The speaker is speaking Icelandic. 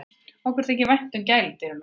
Okkur þykir vænt um gæludýrin okkar.